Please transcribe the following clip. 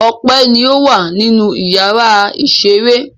Ọpẹ́ ni ó wà nínú ìyàrá-ìṣeré.